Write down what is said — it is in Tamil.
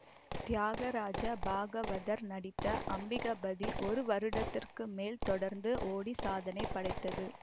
தியாகராஜ பாகவதர் நடித்த அம்பிகாபதி ஒரு வருடத்திற்கு மேல் தொடந்து ஓடி சாதனை படைத்தது